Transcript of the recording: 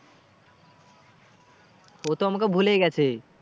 ও তো আমাকে ভুলেই গেছে।